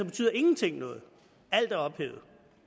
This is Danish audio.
betyder ingenting noget alt er ophævet